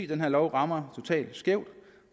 den her lov rammer totalt skævt